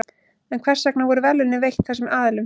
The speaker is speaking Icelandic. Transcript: En hvers vegna voru verðlaunin veitt þessum aðilum?